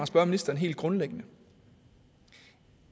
spørge ministeren helt grundlæggende